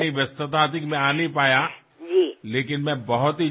কিছুমান আলমাৰিত কাপোৰ থবলৈ ঠাই নায় আৰু কিছুমানে শৰীৰ ঢকাৰ বাবে সংগ্ৰাম কৰিবলগীয়া হয়